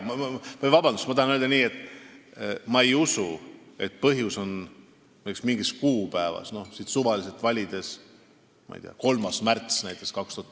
Palun vabandust, ma tahan öelda, et ma ei usu seda, et põhjus oleks mingis kuupäevas, näiteks 3. märtsis 2019, kui suvaliselt valida.